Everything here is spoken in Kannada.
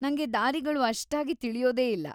ನಂಗೆ ದಾರಿಗಳು ಅಷ್ಟಾಗಿ ತಿಳ್ಯೋದೇ ಇಲ್ಲ.